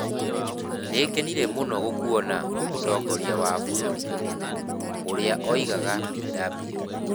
"Nĩ ngenire mũno gũkuona, Mũtongoria wa Bũrũri".ũrĩa oigaga Bw.